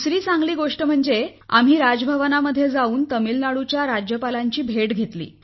दुसरी चांगली गोष्ट म्हणजे आम्ही राजभवनामध्ये जाऊन तामिळनाडूच्या राज्यपालांची भेट घेतली